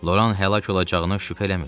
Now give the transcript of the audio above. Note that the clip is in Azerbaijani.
Loran həlak olacağını şübhə eləmirdi.